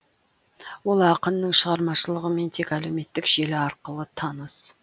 ол ақынның шығармашылығымен тек әлеуметтік желі арқылы таныс